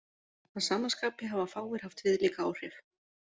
Að sama skapi hafa fáir haft viðlíka áhrif.